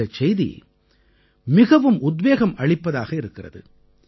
இந்தச் செய்தி மிகவும் உத்வேகம் அளிப்பதாக இருக்கிறது